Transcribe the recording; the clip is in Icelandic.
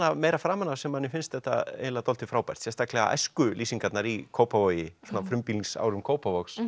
meira framan af sem manni finnst þetta eiginlega dálítið frábært sérstaklega æskulýsingarnar í Kópavogi svona á frumbýlingsárum Kópavogs